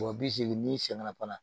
Wa bi segin n'i seginna fana